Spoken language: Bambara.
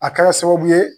A kɛra sababu ye